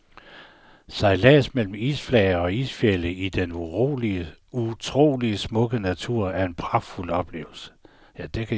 Sejlads mellem isflager og isfjelde i den utrolig smukke natur er en pragtfuld oplevelse.